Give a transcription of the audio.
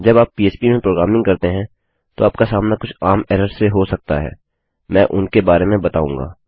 जब आप PHPपीएचपी में प्रोग्रामिंग करते हैं तो आपका सामना कुछ आम एरर्स से हो सकता है मैं उनके बारे में बताऊँगा